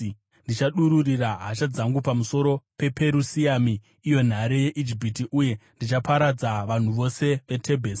Ndichadururira hasha dzangu pamusoro pePerusiami, iyo nhare yeIjipiti, uye ndichaparadza vanhu vose veTebhesi.